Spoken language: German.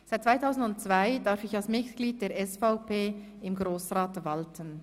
Seit 2002 darf ich als Mitglied der SVP im Grossrat walten.